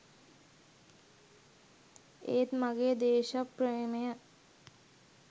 ඒත් මගේ දේශප්‍රේමය